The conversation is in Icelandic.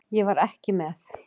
Ég var ekki með.